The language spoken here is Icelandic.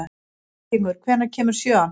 Víkingur, hvenær kemur sjöan?